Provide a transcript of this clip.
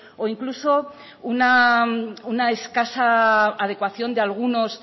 o incluso una escasa adecuación de algunos